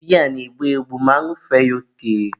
biya na-egbu egbu ma añụfee ya oke.